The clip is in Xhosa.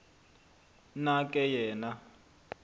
na ke yena